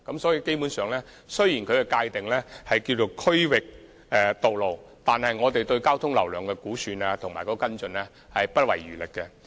所以，雖然它們被界定為"區域道路"，但我們對其交通流量的估算和跟進是不遺餘力的。